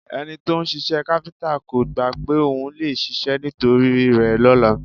Ẹni to ń ṣiṣẹ́ káfíńtà kò gbá pé ohun lè ṣèṣe nítorí rẹ lọ́la